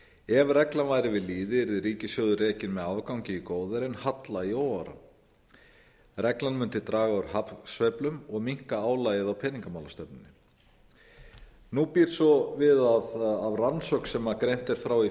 ef þessi regla væri við líði yrði ríkissjóður rekinn með afgangi í góðæri en halla í óáran reglan mundi draga úr hagsveiflu og minnka álagið á peningamálastefnuna nú býr svo við að rannsókn sem greinar frá í